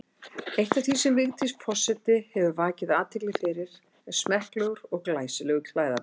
Eitt af því sem Vigdís forseti hefur vakið athygli fyrir er smekklegur og glæsilegur klæðaburður.